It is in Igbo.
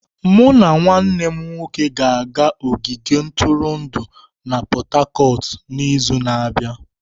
Mụ na nwanne m nwoke ga-aga ogige ntụrụndụ na Pot-Tarcotu n'izu na-abịa.